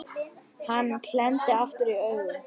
Hann klemmdi aftur augun